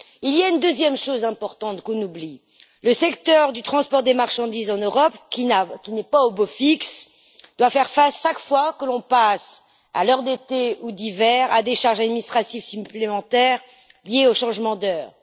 Il y a une deuxième chose importante qu'on oublie le secteur du transport des marchandises en Europe, qui n'est pas au beau fixe, doit faire face, chaque fois que l'on passe à l'heure d'été ou d'hiver, à des charges administratives supplémentaires liées au changement d'heure.